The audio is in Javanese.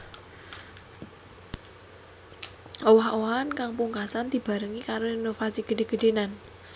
Owah owahan kang pungkasan dibarengi karo renovasi gedhe gedhenan